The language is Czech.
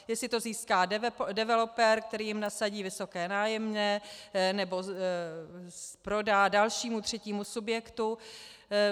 Jestli to získá developer, který jim nasadí vysoké nájemné, nebo prodá dalšímu třetímu subjektu.